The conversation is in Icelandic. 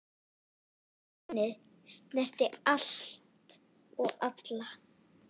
Hrunið snerti allt og alla.